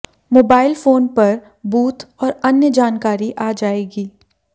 mobile phone पर booth और अन्य जानकारी आ जाएगी